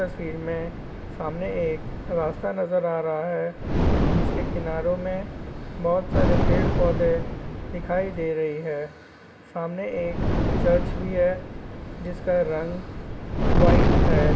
इस तस्वीर में सामने एक रास्ता नजर आ रहा है जिसके किनारों मे बहुत सारे पेड़ पौधे दिखाई दे रही है सामने एक चर्च भी है जिसका रंग वाइट है ।